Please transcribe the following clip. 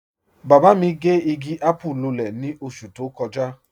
Baba mi gẹ́ igi àpùú lúlẹ̀ ni oṣù tó kọja.